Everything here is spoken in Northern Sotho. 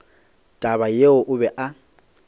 taba yeo o be a